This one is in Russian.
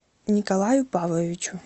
николаю павловичу